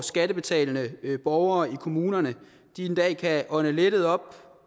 skattebetalende borgere i kommunerne en dag kan ånde lettet op